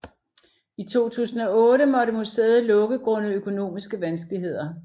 I 2008 måtte museet lukke grundet økonomiske vanskeligheder